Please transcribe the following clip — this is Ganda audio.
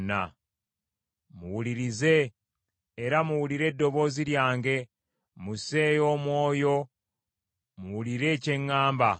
Muwulirize, era muwulire eddoboozi lyange; Musseeyo omwoyo, muwulire kye ŋŋamba.